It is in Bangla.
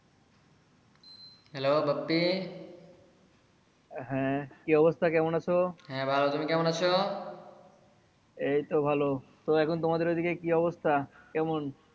hello বাপ্পি হ্যা কি অবস্থা কেমন আছো? হ্যা ভালো তুমি কেমন আছো? এই তো ভালো তো এখন তোমাদের ওই দিকে কি অবস্থা কেমন?